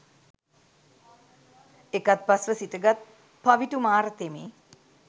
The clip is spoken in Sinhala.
එකත්පස් ව සිටගත් පවිටු මාර තෙමේ